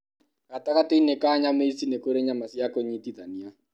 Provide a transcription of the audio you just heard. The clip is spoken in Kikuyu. Gatagatĩ-inĩ ka nyama ici, nĩ kũrĩ nyama cia kũnyitithania.